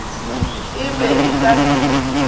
e be e ka se